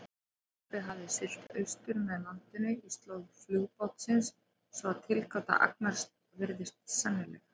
Skipið hafði siglt austur með landinu í slóð flugbátsins, svo að tilgáta Agnars virðist sennileg.